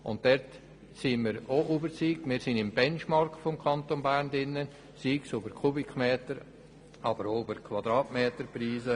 Auch hier sind wir überzeugt, dass wir im Benchmark des Kantons Bern liegen, sowohl was die Kubikmeter- als auch die Quadratmeterpreise anbelangt.